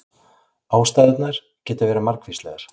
Ástæðurnar geta verið margvíslegar